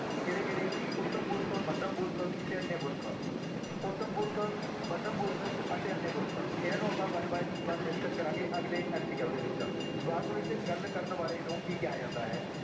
ਕਿਹੜੇ-ਕਿਹੜੇ, ਉੱਤਮ ਪੁਰਖ, ਮੱਧਮ ਪੁਰਖ ਤੇ ਅਨਯ ਪੁਰਖ, ਉਤਮ ਪੁਰਖ, ਮੱਧਮ ਪੁਰਖ ਅਤੇ ਅਨਯ ਪੁਰਖ ਇਹਨਾਂ ਨੂੰ ਆਪਾਂ one by one discuss ਕਰਾਂਗੇ ਅਗਲੇ MCQ ਦੇ ਵਿੱਚ, ਵਾਕ ਵਿੱਚ ਗੱਲ ਕਰਨ ਵਾਲੇ ਨੂੰ ਕੀ ਕਿਹਾ ਜਾਂਦਾ ਹੈ।